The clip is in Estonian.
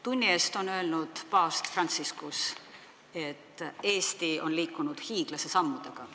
Tunni eest ütles paavst Franciscus, et Eesti on liikunud edasi hiiglase sammudega.